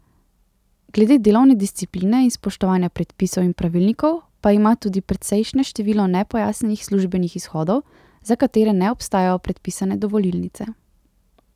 Glede delovne discipline in spoštovanja predpisov in pravilnikov pa ima tudi precejšnje število nepojasnjenih službenih izhodov, za katere ne obstajajo predpisane dovolilnice.